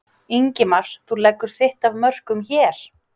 Ingimar: Þú leggur þitt af mörkum hér?